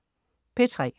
P3: